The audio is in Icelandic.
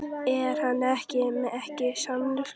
Er hann ekki samningslaus?